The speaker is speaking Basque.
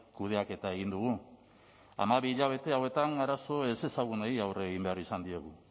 kudeaketa egin dugu hamabi hilabete hauetan arazo ezezagunei aurre egin behar izan diegu